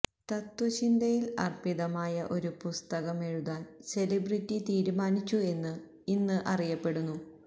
തത്ത്വചിന്തയിൽ അർപ്പിതമായ ഒരു പുസ്തകം എഴുതാൻ സെലിബ്രിറ്റി തീരുമാനിച്ചു എന്ന് ഇന്ന് അറിയപ്പെടുന്നു